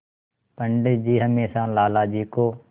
पंडित जी हमेशा लाला जी को